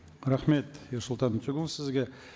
рахмет ерсұлтан өтеғұлұлы сізге